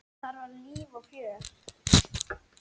Þar var líf og fjör.